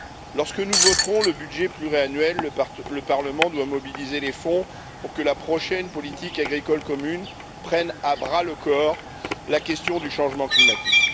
Lorsque nous voterons le budget pluriannuel, le Parlement devra mobiliser les fonds pour que la prochaine politique agricole commune prenne à bras le corps la question du changement climatique.